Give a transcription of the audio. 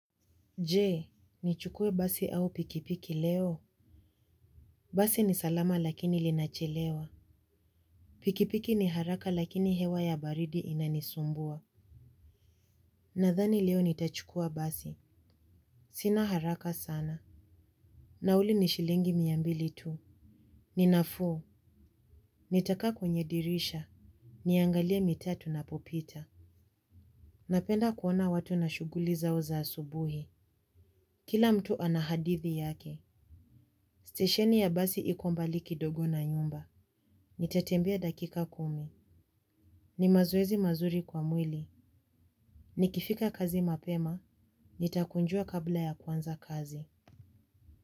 Jee, nichukue basi au pikipiki leo? Basi ni salama lakini linachelewa. Pikipiki ni haraka lakini hewa ya baridi inanisumbua. Nadhani leo nitachukua basi. Sina haraka sana. Nauli ni shilingi mia mbili tu. Ni nafuu. Nitakaa kwenye dirisha. Niangalie mitaa tunapopita. Napenda kuona watu na shuguli zao za asubuhi. Kila mtu ana hadithi yake. Stesheni ya basi iko mbali kidogo na nyumba. Nitatembia dakika kumi. Ni mazoezi mazuri kwa mwili. Nikifika kazi mapema. Nitakunjua kabla ya kuanza kazi.